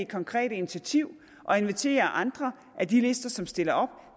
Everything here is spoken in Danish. konkrete initiativ og invitere andre af de lister som stiller op